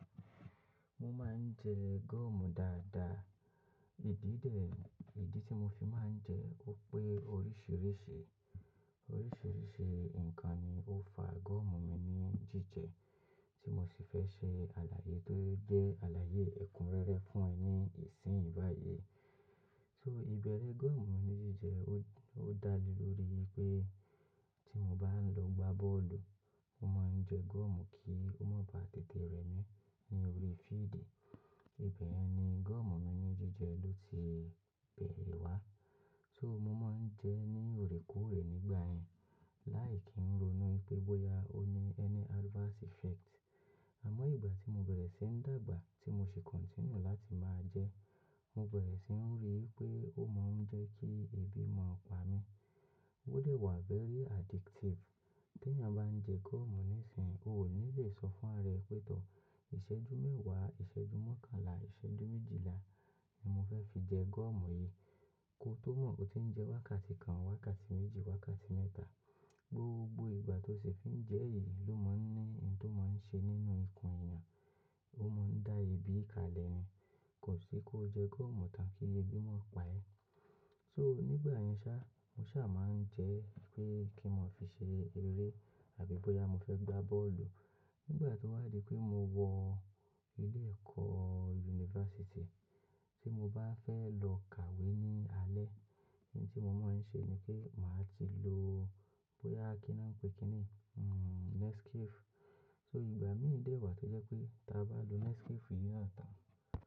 Mo máa ń jẹ gọ́ọ̀mù dáadáa. Ìdí tí mo fi máa ń jẹ ó pé oríṣìíríṣìí nǹkan ni ó fa gọ́ọ̀mù mi ní jíjẹ tí mo sì fẹ́ ṣe àlàyé tó jẹ́ àlàyé ẹ̀kúnrẹ́rẹ́ fún yin ní ìsìn yìí báyìí. Ṣé ìbẹ̀rẹ̀ gọ́ọ̀mù mi ní jíjẹ ó dá lé lórí pé tí mo bá ń lọ gbá bọ́ọ̀lù, ó máa ń jẹ gọ́ọ̀mù kí ó má ba tètè rẹ mí ní orí fíídì. Ìbẹ̀ ni gọ́ọ̀mù mi ní jíjẹ ló ti bẹ̀rẹ̀ wá. Tori mo man je ni ore koore nigba yen lai ki ro inu boya o ni side effect, sugbon igbga ti mo bere si ni dagba ti mo si continue lat maa je mo bere si ni ri wipe o ma n mu ki ebi pa mi ó dẹ̀ wá very addictive. Bí èèyàn bá ń jẹ gọ́ọ̀mù nísìnyí, o ò ní le sọ fún rẹ pé, tọ́ ìṣẹ́jú mẹ́wàá, ìṣẹ́jú mọ́kànlá, ìṣẹ́jú méjìlá ni mo fẹ́ fi jẹ gọ́ọ̀mù yìí. Ki o to mo o ti n je wakati kan, wakati meji, wakati meta gbogbo igba ti mo fi ma n je yen ni o ni nkam to ma n se ni ikun ara. Ó máa ń dá ebi kalẹ̀ ni. Kò sí kó jẹ gọ́ọ̀mù tán kí ebi má pa ẹ. So nígbà yẹn sá, mo sá máa ń jẹ pé kí n máa fi ṣe eré àbí bóyá mo fẹ́ gbá bọ́ọ̀lù. Nígbà tó wá di pé mo wọ ilé-ẹ̀kọ́ yunifásítì tí mo bá fẹ́ lọ kàwé ní alẹ́, ohun tí mo máa ń ṣe ni kí màá ti lo bóyá kí ni wọ́n ń pè kí ni? Hmm, Nescafe. So ìgbà mí dì ìwà tí jẹ́ pé tí a bá lo Nescafe yìí náà tán.